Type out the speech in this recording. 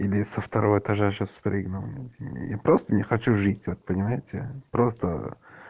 или со второго этажа сейчас спрыгну и просто не хочу жить вот понимаете просто